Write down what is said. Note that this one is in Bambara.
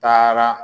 Taara